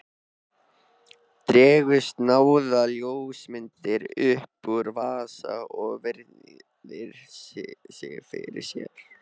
Dregur snjáða ljósmynd upp úr vasa og virðir fyrir sér.